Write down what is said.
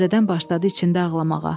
Təzədən başladı içində ağlamağa.